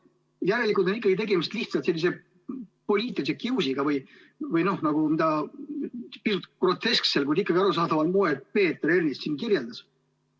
Järelikult on tegemist lihtsalt sellise poliitilise kiusuga, mida Peeter Ernits siin grotesksel, kuid ikkagi arusaadaval moel kirjeldas.